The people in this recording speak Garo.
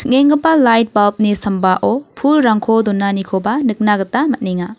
lait bulb-ni sambao pulrangko donanikoba nikna gita man·enga.